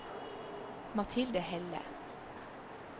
Mathilde Helle